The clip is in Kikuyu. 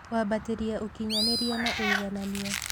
Kwambatĩria ũkinyanĩria na ũiganania.